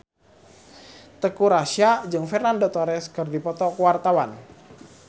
Teuku Rassya jeung Fernando Torres keur dipoto ku wartawan